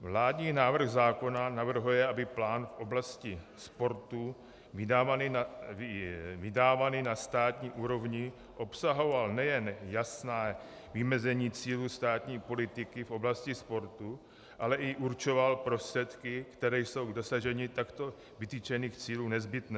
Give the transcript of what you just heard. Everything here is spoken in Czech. Vládní návrh zákona navrhuje, aby plán v oblasti sportu vydávaný na státní úrovni obsahoval nejen jasná vymezení cílů státní politiky v oblasti sportu, ale i určoval prostředky, které jsou k dosažení takto vytyčených cílů nezbytné.